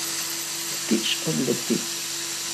Ptič odleti.